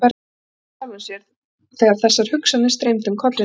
Hann brosti með sjálfum sér þegar þessar hugsanir streymdu um kollinn á honum.